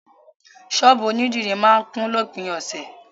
Sọ́ọ̀bù onídìrí máa ń kún lópin ọ̀sẹ̀.